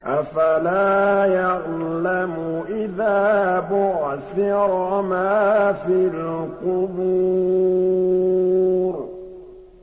۞ أَفَلَا يَعْلَمُ إِذَا بُعْثِرَ مَا فِي الْقُبُورِ